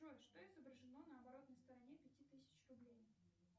джой что изображено на оборотной стороне пяти тысяч рублей